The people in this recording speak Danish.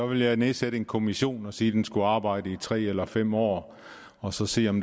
ville jeg nedsætte en kommission og sige at den skulle arbejde i tre eller fem år og så se om